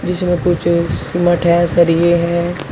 इसमें कुछ सिमट है सरिये है।